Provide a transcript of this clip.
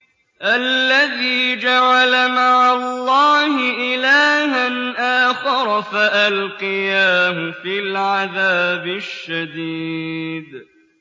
الَّذِي جَعَلَ مَعَ اللَّهِ إِلَٰهًا آخَرَ فَأَلْقِيَاهُ فِي الْعَذَابِ الشَّدِيدِ